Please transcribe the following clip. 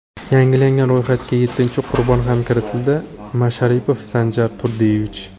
Yangilangan ro‘yxatga yettinchi qurbon ham kiritildi: Masharipov Sanjar Turdiyevich.